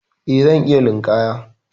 Eh, zan iya linƙaya.